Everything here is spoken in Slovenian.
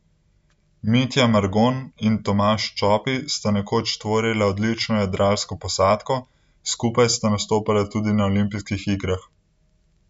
Mitja Margon in Tomaž Čopi sta nekoč tvorila odlično jadralno posadko, skupaj sta nastopala tudi na olimpijskih igrah.